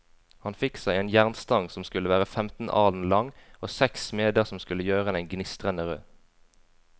Han fikk seg en jernstang som skulle være femten alen lang, og seks smeder som skulle gjøre den gnistrende rød.